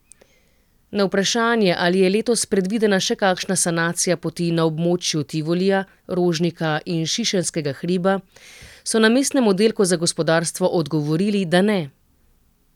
Na vprašanje, ali je letos predvidena še kakšna sanacija poti na območju Tivolija, Rožnika in Šišenskega hriba, so na mestnem oddelku za gospodarstvo odgovorili, da ne.